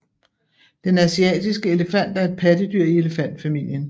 Den asiatiske elefant er et pattedyr i elefantfamilien